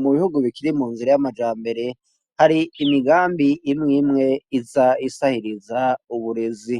Mu bihugu bikiri mu nzira y'amajambere hari imigambi imwimwe iza isahiriza uburezi